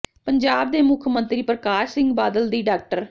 ਪੰਜਾਬ ਦੇ ਮੁੱਖ ਮੰਤਰੀ ਪਰਕਾਸ਼ ਸਿੰਘ ਬਾਦਲ ਦੀ ਡਾ